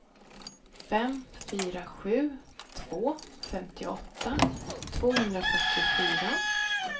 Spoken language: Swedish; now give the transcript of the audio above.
fem fyra sju två femtioåtta tvåhundrafyrtiofyra